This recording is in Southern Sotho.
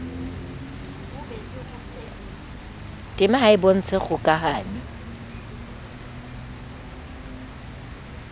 tema ha e bontshe kgokahano